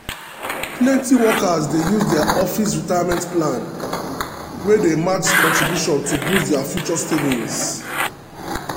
plenty workers dey use their office retirement plan wey dey match contribution to boost their future savings.